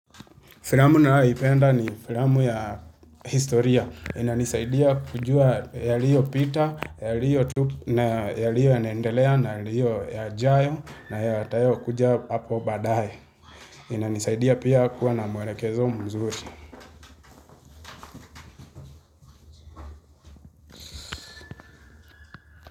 Filamu ninayoipenda ni filamu ya historia. Inanisaidia kujua yaliyopita, yaliyo yanaendelea, yaliyo yajayo na yatayokuja hapo baadaye. Inanisaidia pia kuwa na mwelekezo mzuri.